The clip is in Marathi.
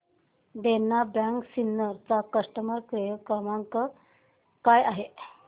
देना बँक सिन्नर चा कस्टमर केअर क्रमांक काय आहे